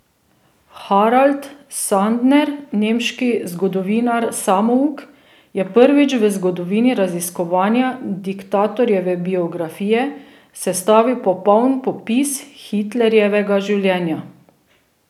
Harald Sandner, nemški zgodovinar samouk, je prvič v zgodovini raziskovanja diktatorjeve biografije sestavil popoln popis Hitlerjevega življenja.